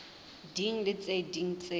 ding le tse ding tse